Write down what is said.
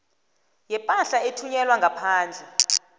yepahla ethunyelwa ngaphandle